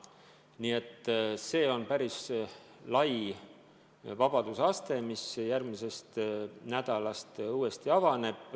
Nii et see on päris suur vabadus, mis järgmisest nädalast uuesti kehtib.